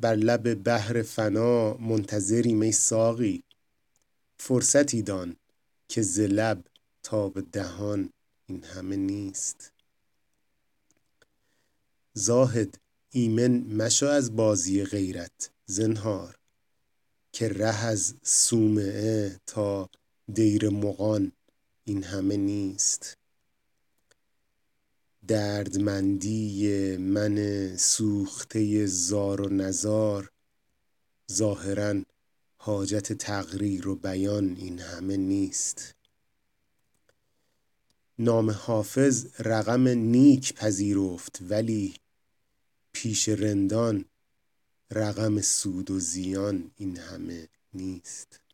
بر لب بحر فنا منتظریم ای ساقی فرصتی دان که ز لب تا به دهان این همه نیست زاهد ایمن مشو از بازی غیرت زنهار که ره از صومعه تا دیر مغان این همه نیست دردمندی من سوخته زار و نزار ظاهرا حاجت تقریر و بیان این همه نیست نام حافظ رقم نیک پذیرفت ولی پیش رندان رقم سود و زیان این همه نیست